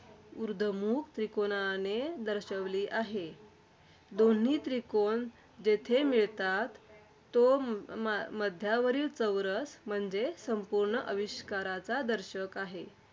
ऊर्ध्वमुख त्रिकोणाने दर्शविली आहे. दोन्ही त्रिकोण जेथे मिळतात, तो म मध्यावरील चौरस म्हणजे संपूर्ण आविष्काराचा दर्शक आहे.